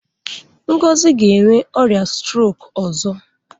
Ngozi ga-enwe ọrịa strok ọzọ.